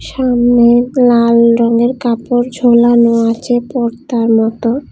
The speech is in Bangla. সামনে লাল রঙের কাপড় ঝোলানো আছে পর্দার মতো।